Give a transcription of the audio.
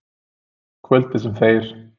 Kvöldið, sem þeir